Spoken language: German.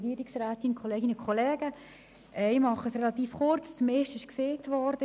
Ich werde mich kurzfassen, denn das meiste ist bereits gesagt worden.